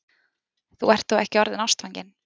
Þú ert þó ekki orðinn ástfanginn?